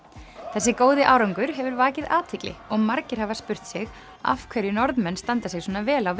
þessi góði árangur hefur vakið athygli og margir hafa spurt sig af hverju Norðmenn standa sig svona vel á